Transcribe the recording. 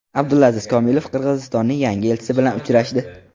Abdulaziz Komilov Qirg‘izistonning yangi elchisi bilan uchrashdi.